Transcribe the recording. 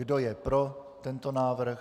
Kdo je pro tento návrh?